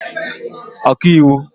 ọkaiwu